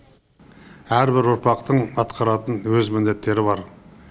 әрбір ұрпақтың атқаратын өз міндеттері бар